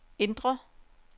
indre